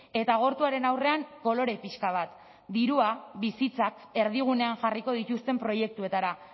eta agortuaren aurrean kolore pixka bat dirua bizitzak erdigunean jarriko dituzten proiektuetara